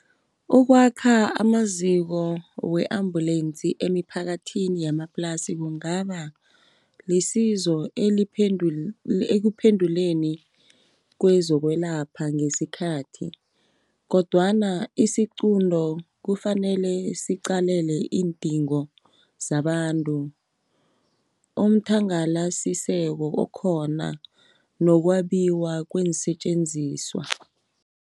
Ukwakha amaziko we-ambulensi emiphakathini yamaplasi, kungaba lisizo ekuphenduleni kwezokwelapha ngesikhathi, kodwana isiqunto kufanele siqalele iindingo zabantu, umthangalasiseko okhona nokwabiwa kweensetjenziswa.